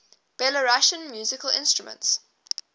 belarusian musical instruments